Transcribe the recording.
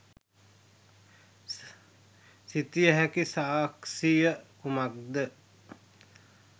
සිතිය හැකි සාක්‍ෂිය කුමක්ද?